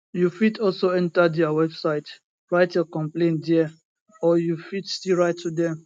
you fit also enta dia website write your complain dia or you fit still write to dem